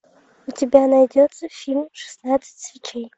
у тебя найдется фильм шестнадцать свечей